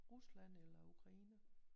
Rusland eller Ukraine